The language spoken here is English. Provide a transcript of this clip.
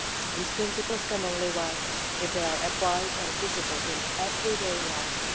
These principles can only work if they are applied and visible in people's everyday lives.